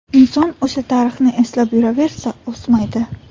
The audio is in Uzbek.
Inson o‘sha tarixni eslab yuraversa, o‘smaydi.